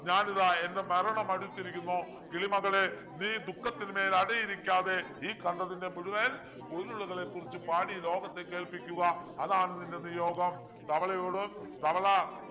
ഞാനിതാ എൻ്റെ മരണം അടുത്തിരിക്കുന്നു കിളിമകളെ നീ ദുഃഖത്തിനു മേൽ അടയിരിക്കാതെ ഈ കണ്ടതിന്റെ മുഴുവൻ പൊരുളുകളെ കുറിച്ച് പാടി ലോകത്തെ കേൾപ്പിക്കുക അതാണ് നിൻ്റെ നിയോഗം തവളയോട് തവള